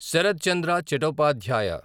Sarath Chandra Chattopadhyay